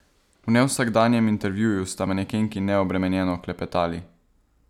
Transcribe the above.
V nevsakdanjem intervjuju sta manekenki neobremenjeno klepetali.